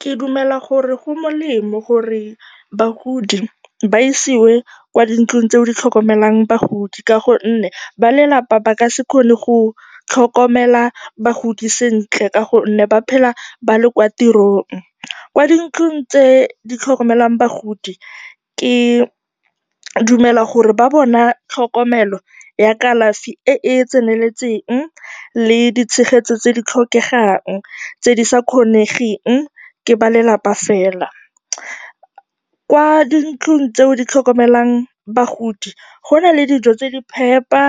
Ke dumela gore go molemo gore bagodi ba isiwe kwa dintlong tseo di tlhokomelang bagodi ka gonne ba lelapa ba ka se kgone go tlhokomela bagodi sentle ka gonne ba phela ba le kwa tirong. Kwa dintlong tse di tlhokomelang bagodi, ke dumela gore ba bona tlhokomelo ya kalafi e e tseneletseng le ditshegetso tse di tlhokegang tse di sa kgonweng ke ba lelapa fela. Kwa dintlong tseo di tlhokomelang bagodi, go na le dijo tse di phepa